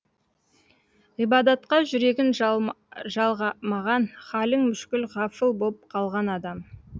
ғибадатқа жүрегін жалғамаған халің мүшкіл ғафыл боп қалған адам